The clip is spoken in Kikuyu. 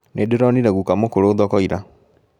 Nĩndĩronire guka mũkũrũ thoko ira